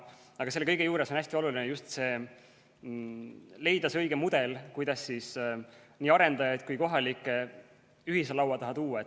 Aga selle kõige juures on hästi oluline just leida see õige mudel, kuidas nii arendajaid kui ka kohalikke ühise laua taha tuua.